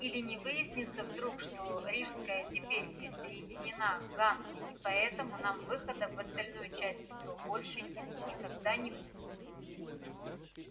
или не выяснится вдруг что рижская теперь присоединена к ганзе и поэтому нам выхода в остальную часть метро больше нет и никогда не будет